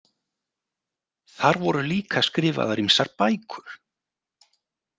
Þar voru líka skrifaðar ýmsar bækur.